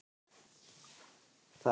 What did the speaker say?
Það er til allrar hamingju sjaldgæft.